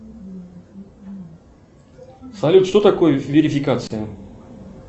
салют что такое верификация